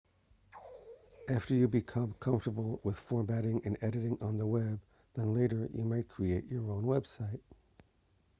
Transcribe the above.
after you become comfortable with formatting and editing on the web then later you might create your own website